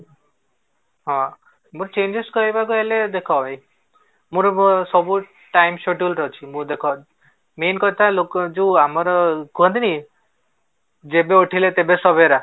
ହଁ, but changes କହିବାକୁ ହେଲେ ଦେଖ ମୋର ସବୁ time schedule ରେ ଅଛି ମୁଁ ଦେଖ main କଥା ଲୋକ ଯୋଉ ଆମର କୁହନ୍ତିନି ଯେବେ ଉଠିଲେ ତେବେ